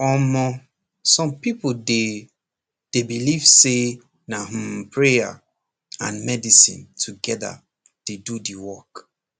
omor some people dey dey believe say na hmmprayer and medicine together dey do the work